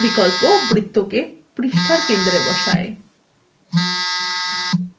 centered বিকল্প বৃত্ত the পৃষ্ঠার centre বসায়